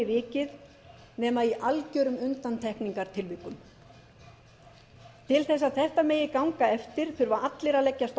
vikið nema í algjörum undantekningartilvikum til þess að þetta megi ganga eftir þurfa allir að leggjast á eitt ég